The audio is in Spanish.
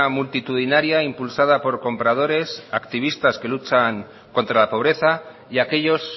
multitudinaria impulsada por compradores activistas que luchan contra la pobreza y aquellos